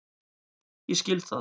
Ég skil það.